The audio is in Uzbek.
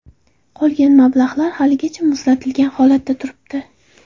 Qolgan mablag‘lar haligacha muzlatilgan holatda turibdi.